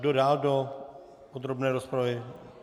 Kdo dál do podrobné rozpravy?